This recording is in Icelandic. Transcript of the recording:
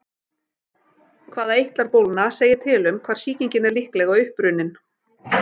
Hvaða eitlar bólgna segir til um hvar sýkingin er líklega upprunnin.